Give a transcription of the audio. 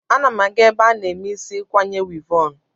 Ana m aga ebe a na-eme isi ikwanye wivọn.